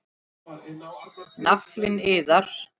Naflinn iðar.